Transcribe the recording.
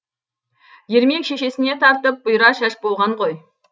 ермек шешесіне тартып бұйра шаш болған ғой